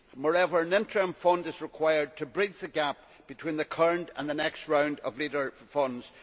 Moreover, an interim fund is required to bridge the gap between the current and the next round of Leader funds.